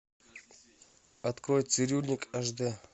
открой цирюльник аш д